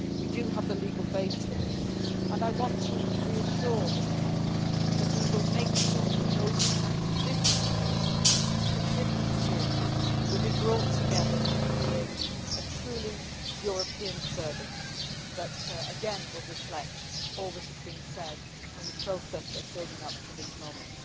We do have the legal basis for this, and I want to reassure this House that we will make sure that those who come from different traditions, from different sources, will be brought together to create a truly European service that again will reflect all that has been said in the process of building up to this moment.